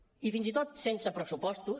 i fins i tot sense pressupostos